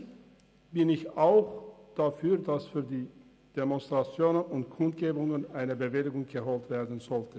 Ich persönlich bin auch dafür, dass für die Demonstrationen und Kundgebungen eine Bewilligung eingeholt werden soll.